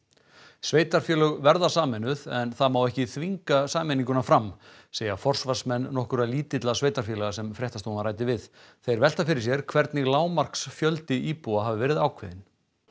sveitarfélög verða sameinuð en það má ekki þvinga sameininguna fram segja forsvarsmenn nokkurra lítilla sveitarfélaga sem fréttastofan ræddi við þeir velta fyrir sér hvernig lágmarksfjöldi íbúa hafi verið ákveðinn